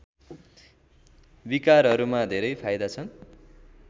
विकारहरूमा धेरै फाइदा हुन्छ